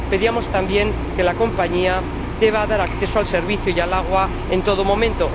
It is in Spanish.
Pedíamos también que la compañía deba dar acceso a los aseos y al agua en todo momento.